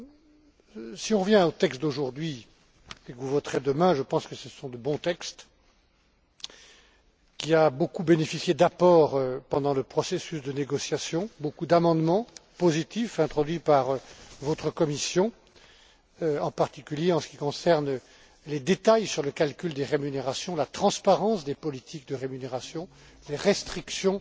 Pour revenir aux textes d'aujourd'hui, que vous voterez demain, je pense que ce sont de bons textes qui ont bénéficié de nombreux apports pendant le processus de négociations, d'amendements positifs, introduits par votre commission, en particulier en ce qui concerne les détails sur le calcul des rémunérations, la transparence des politiques de rémunération, les restrictions